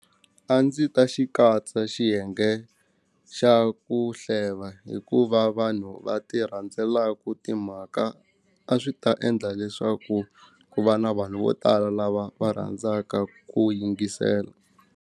A ndzi ta xi katsa xiyenge xa ku hleva hikuva vanhu va ti rhandzelaku timhaka a swi ta endla leswaku ku va na vanhu vo tala lava va rhandzaka ku yingisela.